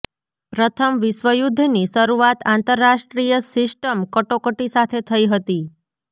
પ્રથમ વિશ્વ યુદ્ધ ની શરૂઆત આંતરરાષ્ટ્રીય સિસ્ટમ કટોકટી સાથે થઈ હતી